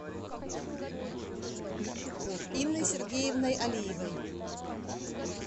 инной сергеевной алиевой